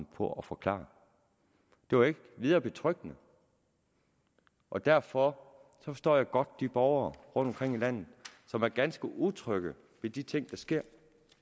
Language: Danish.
på at forklare det var ikke videre betryggende og derfor forstår jeg godt de borgere rundtomkring i landet som er ganske utrygge ved de ting der sker